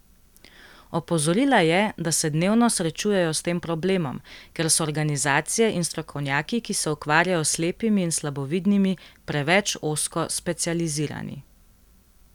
Opozorila je, da se dnevno srečujejo s tem problemom, ker so organizacije in strokovnjaki, ki se ukvarjajo s slepimi in slabovidnimi, preveč ozko specializirani.